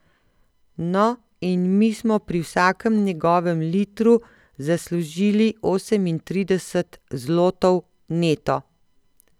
No, in mi smo pri vsakem njegovem litru zaslužili osemintrideset zlotov neto!